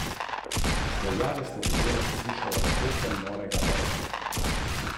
Med redkimi posavskimi pridelovalci sadja, pred katerimi je delno lepša prihodnost, je Vojko Šušterič iz Piršenbrega.